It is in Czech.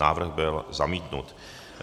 Návrh byl zamítnut.